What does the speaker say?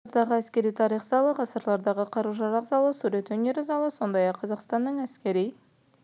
көне залы ғасырдағы әскери тарих залы ғасырлардағы қару-жарақ залы сурет өнері залы сондай-ақ қазақстанның әскери